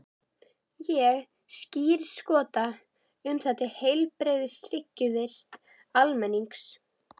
Ég skírskota um það til heilbrigðs hyggjuvits almennings.